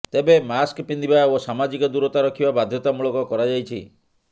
ତେବେ ମାସ୍କ ପିନ୍ଧିବା ଓ ସାମାଜିକ ଦୂରତା ରଖିବା ବାଧ୍ୟତାମୂଳକ କରାଯାଇଛି